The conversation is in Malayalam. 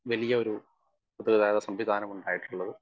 സ്പീക്കർ 1 വലിയൊരു ഗതാഗതസംവിധാനമുണ്ടായിട്ടുള്ളത്.